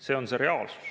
" See on see reaalsus.